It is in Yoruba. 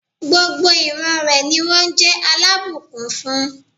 Gbogbo ìran rẹ̀ ni wón jé alábùkún fún